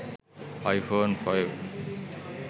i phone 5